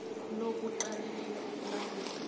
lo kuqalelela ukulawulwa